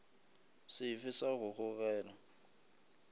se fe sa go gogela